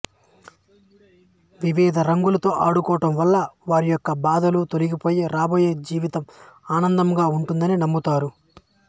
వివిధ రంగులతో ఆడుకోవటం వల్ల వారి యొక్క బాధలు తొలగిపోయి రాబోయే జీవితం ఆనందముగా ఉంటుందని నమ్ముతారు